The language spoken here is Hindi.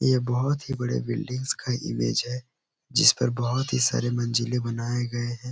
ये बोहत ही बड़े बिल्डिंग्स का इमेज है। जिसपर ही सारे मंजिले बनाए गए हैं।